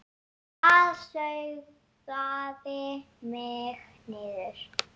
Það sogaði mig niður.